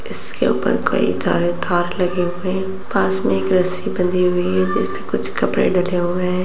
इसके ऊपर कई सारे तार लगे हुए है पास मे एक रस्सी बंधी हुई है जिसपे कुछ कपड़े डले हुए है।